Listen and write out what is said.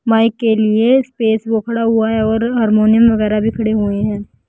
Mic के लिए space उखडा हुआ है और हारमोनियम वगैरा भी उखड़े हुए हैं।